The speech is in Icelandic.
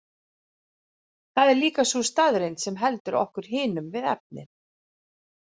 Það er líka sú staðreynd sem heldur okkur hinum við efnið.